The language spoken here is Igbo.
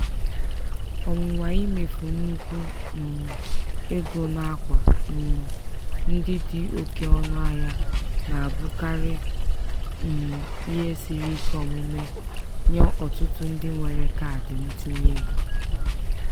ọnwụnwa imefu nnukwu um ego n'akwa um ndị dị oke ọnụahịa na-abụkarị um ihe siri ike omume nye ọtụtụ ndị nwere kaadị ntinyeego.